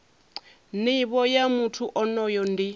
nivho ya muthu onoyo ndi